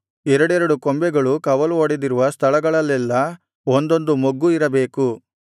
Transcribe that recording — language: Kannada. ಎರಡೆರಡು ಕೊಂಬೆಗಳು ಕವಲು ಒಡೆದಿರುವ ಸ್ಥಳಗಳಲ್ಲೆಲ್ಲಾ ಒಂದೊಂದು ಮೊಗ್ಗು ಇರಬೇಕು